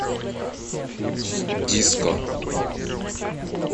диско